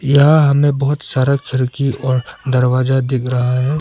यहां हमें बहुत सारा खिड़की और दरवाजा दिख रहा है।